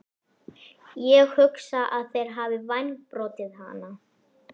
Ég hugsa að þeir hafi vængbrotið hana